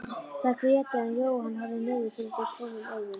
Þær grétu en Jóhann horfði niður fyrir sig tómum augum.